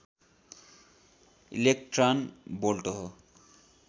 electron volt हो